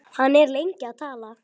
Hann er lengi að tala.